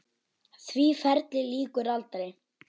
Því ferli lýkur aldrei.